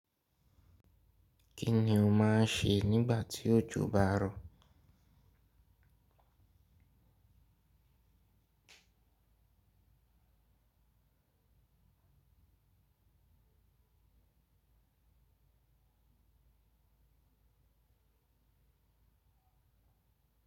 Kí ni o máa ń ṣe nígbà tí òjò bá rọ̀?